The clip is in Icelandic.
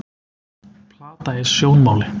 Plata í sjónmáli